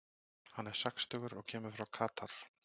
Hann er sextugur og kemur frá Katar.